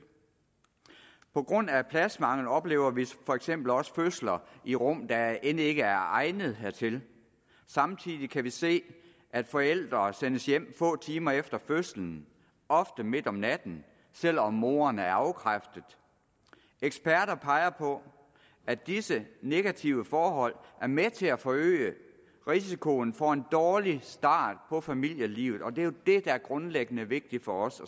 på grund af pladsmangel oplever vi for eksempel også fødsler i rum der end ikke er egnet hertil samtidig kan vi se at forældre sendes hjem få timer efter fødslen ofte midt om natten selv om moren er afkræftet eksperter peger på at disse negative forhold er med til at forøge risikoen for en dårlig start på familielivet og det er jo det der er grundlæggende vigtigt for os